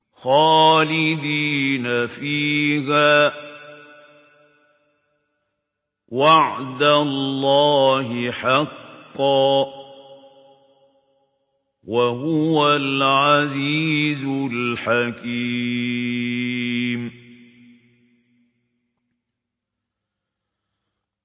خَالِدِينَ فِيهَا ۖ وَعْدَ اللَّهِ حَقًّا ۚ وَهُوَ الْعَزِيزُ الْحَكِيمُ